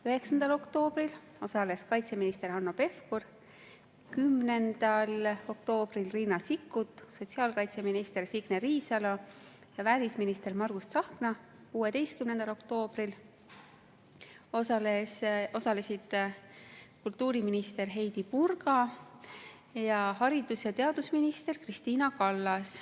9. oktoobril kaitseminister Hanno Pevkur, 10. oktoobril Riina Sikkut, sotsiaalkaitseminister Signe Riisalo ja välisminister Margus Tsahkna, 16. oktoobril osalesid kultuuriminister Heidy Purga ja haridus‑ ja teadusminister Kristina Kallas.